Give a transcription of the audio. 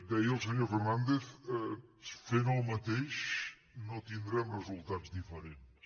deia el senyor fernàndez fent el mateix no tindrem resultats diferents